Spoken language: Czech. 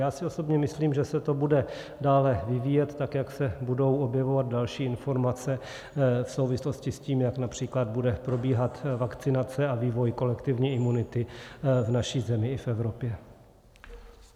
Já si osobně myslím, že se to bude dále vyvíjet tak, jak se budou objevovat další informace v souvislosti s tím, jak například bude probíhat vakcinace a vývoj kolektivní imunity v naší zemi i v Evropě.